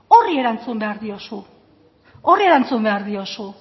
horri erantzun behar diozu